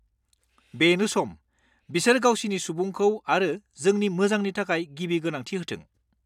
बेनो सम, बिसोर गावसिनि सुबुंखौ आरो जोंनि मोजांनि थाखाय गिबि गोनांथि होथों।